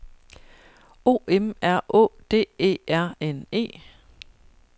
O M R Å D E R N E